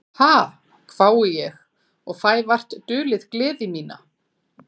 Ha, hvái ég og fæ vart dulið gleði mína.